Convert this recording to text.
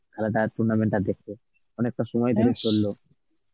খেলাটা tournament টা দেখে, অনেকটা সময় ধরে চলল.